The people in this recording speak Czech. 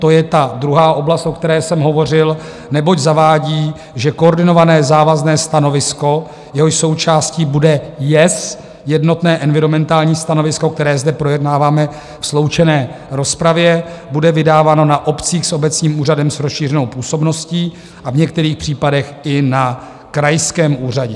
To je ta druhá oblast, o které jsem hovořil, neboť zavádí, že koordinované závazné stanovisko, jehož součástí bude JES, jednotné environmentální stanovisko, které zde projednáváme ve sloučené rozpravě, bude vydáváno na obcích s obecním úřadem s rozšířenou působností a v některých případech i na krajském úřadě.